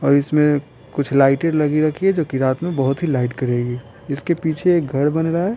और इसमें कुछ लाइटेड लगी रखी है जो कि रात में बहोत ही लाइट करेगी इसके पीछे एक घर बन रहा है।